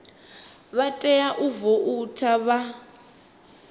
vha tea u voutha vha